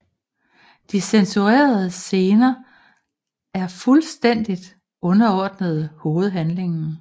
De censurerede scener er fuldstændigt underordnede hovedhandlingen